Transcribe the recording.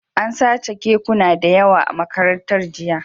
An sace kekuna da yawa a Makarantar jiya